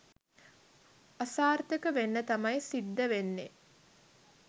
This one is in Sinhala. අසාර්ථක වෙන්න තමයි සිද්ධ වෙන්නේ.